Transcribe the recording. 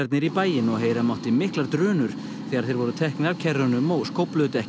í bæinn og heyra mátti miklar drunur þegar þeir voru teknir af kerrunum og